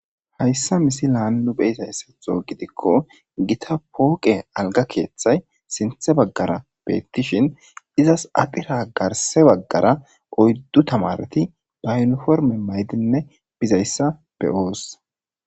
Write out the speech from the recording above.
hayssa misi laannu beyisayssatho gidikko gita pooqe alga keeththay sinthe baggara beettishin izas adhira garse baggara oyddu tamareti ba yuniforme maydinne bizayssa be7oos